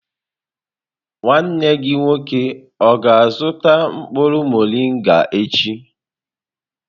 Nwanne gị nwoke ọ ga-azuta mkpuru morịnga echi?